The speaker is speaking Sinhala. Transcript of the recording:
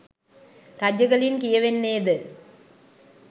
රජගලින් කියවෙන්නේද